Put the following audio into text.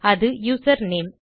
அது யூசர்நேம்